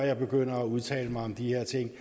jeg begynder at udtale mig om de her ting